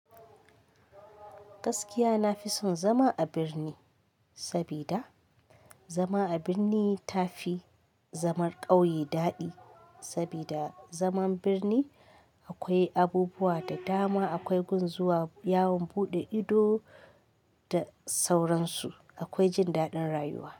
Gaskiya na fi son zama a birni sabida zama a birni ta fi zaman ƙauye daɗi. Sabida zaman birni akwai abubuwa da dama, akwai gun zuwa yawon buɗe ido da sauransu. Akwai jin daɗin rayuwa.